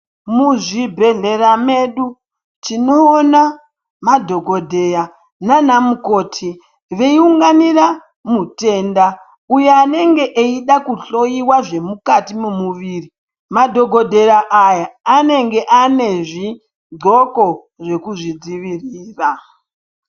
Muzvibhedhlera medu tinoona madhokodheya nana mukoti veiunganira mutenda uyo anenge eida kuhloyiwa zvemukati memuviri. Madhokodheya aya anenge ane zvidxoko zvekuzvidzivirira.